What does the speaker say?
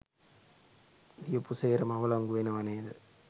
ලියපු සේරම අවලංගු වෙනවා නේද?